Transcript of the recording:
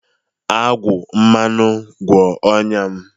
Agwa mmanụ, gwọọ ọnya m.